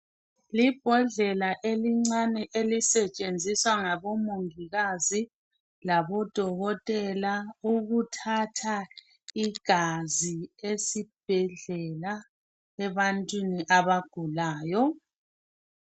i bhodlela elincane elisetshenziswa ngabo mongikazi labodokotela ukuthatha igazi esibhedlela ebantwini abagulayo